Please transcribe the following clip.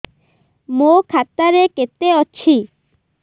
ମୋ ଖାତା ରେ କେତେ ଅଛି